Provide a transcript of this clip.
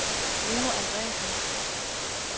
Bruno Andresen